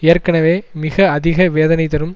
ஏற்கனவே மிக அதிக வேதனை தரும்